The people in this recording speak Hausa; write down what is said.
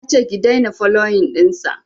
nace ki daina foloyin ɗinsa